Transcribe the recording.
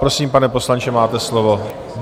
Prosím, pane poslanče, máte slovo.